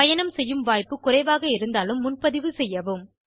பயணம் செய்யும் வாய்ப்புக் குறைவாக இருந்தாலும் முன்பதிவு செய்யவும்